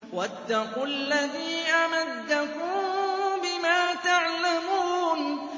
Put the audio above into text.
وَاتَّقُوا الَّذِي أَمَدَّكُم بِمَا تَعْلَمُونَ